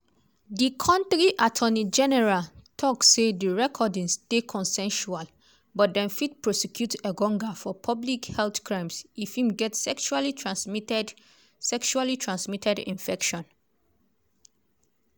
di kontri attorney general tok say di recordings dey consensual but dem fit prosecute engonga for "public health crimes" if im get sexually-transmitted sexually-transmitted infection.